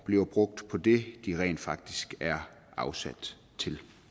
bliver brugt på det de rent faktisk er afsat til